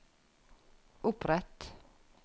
opprett